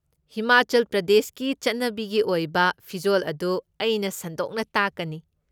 ꯍꯤꯃꯥꯆꯜ ꯄ꯭ꯔꯗꯦꯁꯀꯤ ꯆꯠꯅꯕꯤꯒꯤ ꯑꯣꯏꯕ ꯐꯤꯖꯣꯜ ꯑꯗꯨ ꯑꯩꯅ ꯁꯟꯗꯣꯛꯅ ꯇꯥꯛꯀꯅꯤ꯫